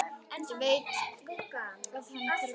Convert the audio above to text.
Ég veit að hann hverfur ekki.